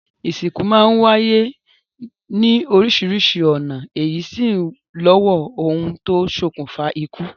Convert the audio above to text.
Ìsìnkú máa ń wáyé ní oríṣiríṣi ọ̀nà èyí sì w lọ́wọ́ ohun tó ṣokùnfà ikú.